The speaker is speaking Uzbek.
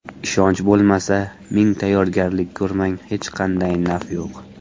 Ishonch bo‘lmasa, ming tayyorgarlik ko‘rmang, hech qanday naf yo‘q.